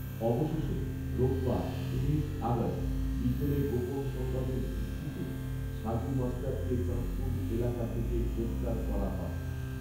অবশষে রোববার, উনিশ আগস্ট, বিকেলে গোপন সংবাদের ভিত্তিতে সাজু মাস্টারকে চাঁদপুর এলাকা থেকে গ্রেফতার করা হয়